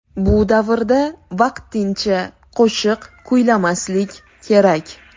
Bu davrda vaqtincha qo‘shiq kuylamaslik kerak.